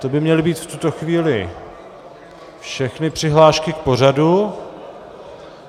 To by měly být v tuto chvíli všechny přihlášky k pořadu.